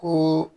Ko